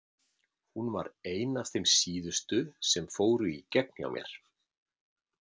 Hún var ein af þeim síðustu sem fóru í gegn hjá mér.